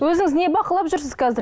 өзіңіз не бақылап жүрсіз қазір